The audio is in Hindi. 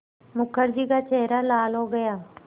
मुखर्जी का चेहरा लाल हो गया